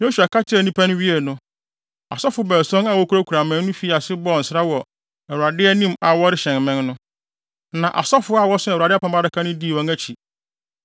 Yosua kasa kyerɛɛ nnipa no wiei no, asɔfo baason a wokurakura mmɛn no fii ase bɔɔ nsra wɔ Awurade anim a wɔrehyɛn mmɛn no. Na asɔfo a wɔso Awurade Apam Adaka no dii wɔn akyi.